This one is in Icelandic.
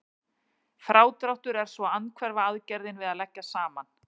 Frádráttur er svo andhverfa aðgerðin við að leggja saman.